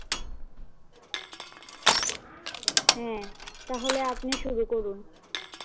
হ্যাঁ তাহলে আপনি শুরু করুন।